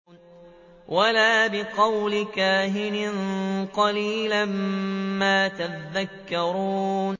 وَلَا بِقَوْلِ كَاهِنٍ ۚ قَلِيلًا مَّا تَذَكَّرُونَ